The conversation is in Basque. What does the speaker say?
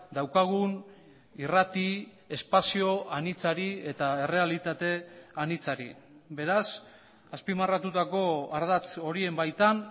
daukagun irrati espazio anitzari eta errealitate anitzari beraz azpimarratutako ardatz horien baitan